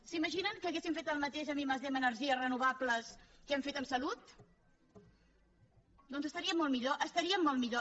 s’imaginen que haguéssim fet el mateix en i+d en energies renovables del que hem fet en salut doncs estaríem molt millor estaríem molt millor